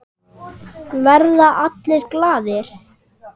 Verða allir glaðir?